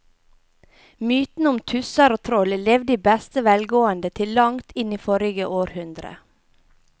Mytene om tusser og troll levde i beste velgående til langt inn i forrige århundre.